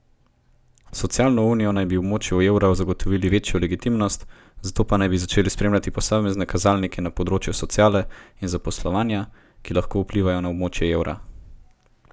S socialno unijo naj bi območju evra zagotovili večjo legitimnost, zato naj bi začeli spremljati posamezne kazalnike na področjih sociale in zaposlovanja, ki lahko vplivajo na območje evra.